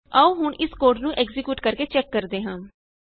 ਆਉ ਹੁਣ ਇਸ ਕੋਡ ਨੂੰ ਐਕਜ਼ੀਕਿਯੂਟ ਕਰਕੇ ਚੈਕ ਕਰਦੇ ਹਾਂ